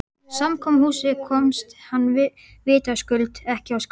Samkomuhúsið komst hann vitaskuld ekki á skrána.